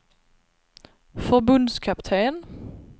förbundskapten